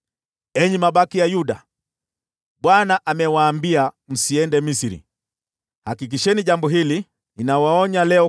“Enyi mabaki ya Yuda, Bwana amewaambia, ‘Msiende Misri.’ Hakikisheni jambo hili: Ninawaonya leo